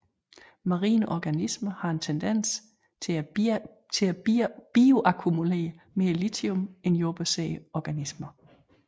Marine organismer har en tendens til at bioakkumulere mere lithium end jordbaserede organismer